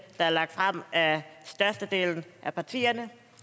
der er lagt frem af størstedelen af partierne og